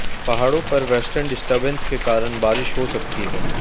पहाड़ों पर western disturbance के कारण बारिश हो सकती है